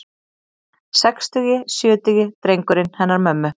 Sextugi, sjötugi drengurinn hennar mömmu.